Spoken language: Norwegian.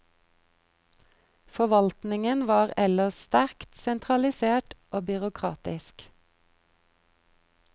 Forvaltningen var ellers sterkt sentralisert og byråkratisk.